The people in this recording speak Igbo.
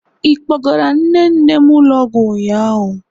Ị kpọgara nne nne m ụlọ ọgwụ ụnyaahụ?